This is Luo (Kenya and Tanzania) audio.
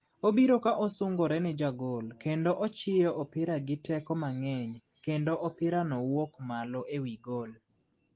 Obiro ka osungore ne jagol, kendo ochiyo opira gi teko mangeny, kendo opira no wuok malo ewi gol